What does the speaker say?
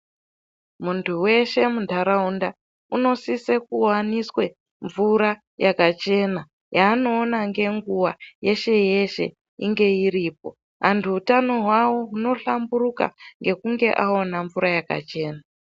Muntu weshe mundarawunda, unosise kuwaniswe mvura yakachena, yanowona ngenguwa yeshe yeshe inge iripo. Antu wutano wawo, wunohlamburuka ngekunge awana mvura yakachena.